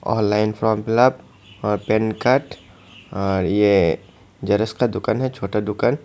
Online form fill up और PAN card और ये ज़ेरॉक्स का दुकान है छोटा दुकान।